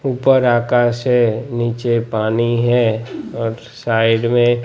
ऊपर आकाश है नीचे पानी है और साइड मे--